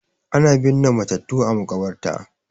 Ana binne matattu a makabarta